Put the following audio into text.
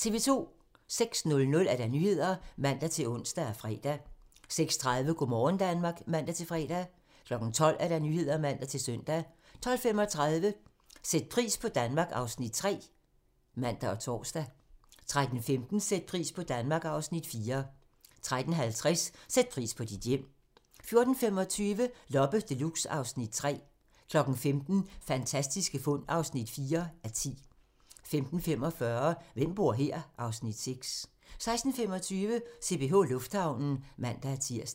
06:00: Nyhederne (man-ons og fre) 06:30: Go' morgen Danmark (man-fre) 12:00: Nyhederne (man-søn) 12:35: Sæt pris på Danmark (Afs. 3)(man og tor) 13:15: Sæt pris på Danmark (Afs. 4) 13:50: Sæt pris på dit hjem 14:25: Loppe Deluxe (Afs. 3) 15:00: Fantastiske fund (4:10) 15:45: Hvem bor her? (Afs. 6) 16:25: CPH Lufthavnen (man-tir)